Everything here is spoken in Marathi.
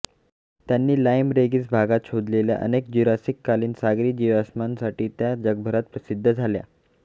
त्यांनी लाईम रेगीस भागात शोधलेल्या अनेक ज्यूरासिककालीन सागरी जीवाश्मांसाठी त्या जगभरात प्रसिद्ध झाल्या